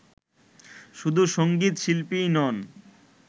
শুধু সঙ্গীত শিল্পীই নন